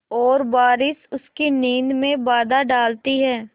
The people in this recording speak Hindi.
और बारिश उसकी नींद में बाधा डालती है